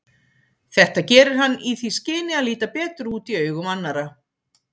Þetta gerir hann í því skyni að líta betur út í augum annarra.